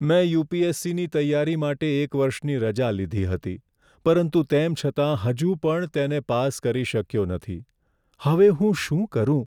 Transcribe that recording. મેં યુ.પી.એસ.સી.ની તૈયારી માટે એક વર્ષની રજા લીધી હતી, પરંતુ તેમ છતાં હજુ પણ તેને પાસ કરી શક્યો નથી. હવે હું શું કરું?